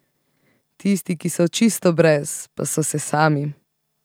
Tisti, ki so čisto brez, pa so se sami.